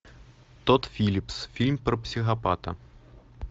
тодд филлипс фильм про психопата